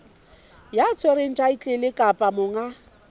ya tshwereng thaetlele kapa monga